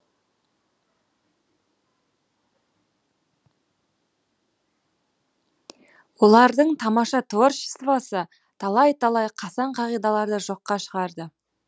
олардың тамаша творчествосы талай талай қасаң қағидаларды жоққа шығарды